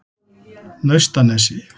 Naustanesi